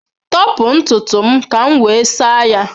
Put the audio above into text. Tọpụ ntutu m ka m wee saa ya.